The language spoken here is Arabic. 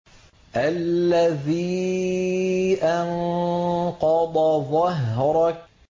الَّذِي أَنقَضَ ظَهْرَكَ